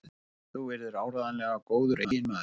Þú yrðir áreiðanlega góður eiginmaður.